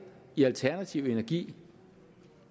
i alternativ energi